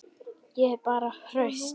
Ég er bara hraust.